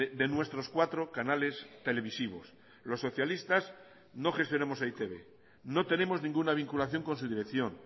de nuestros cuatro canales televisivos los socialistas no gestionamos e i te be no tenemos ninguna vinculación con su dirección